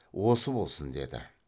осы болсын деді